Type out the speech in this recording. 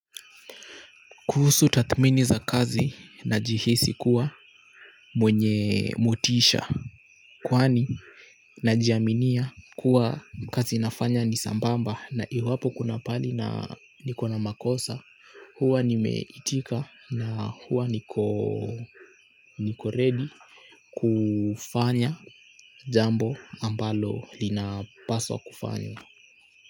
Kuhusu tathmini za kazi najihisi kuwa mwenye motisha kwani najiaminia kuwa kazi nafanya ni sambamba na iwapo kuna pahali na niko na makosa hua nimeitika na hua niko ready kufanya jambo ambalo linapaswa kufanywa.